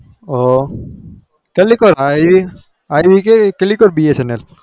ઓ એ કઈ bsnl